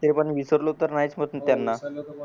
तरी पण मी विसरलो नाहीच त्यांना